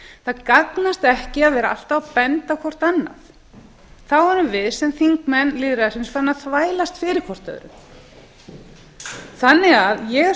það gagnast ekki að vera alltaf að benda á hvert annað þá erum við sem þingmenn farin að þvælast hvert fyrir öðru ég er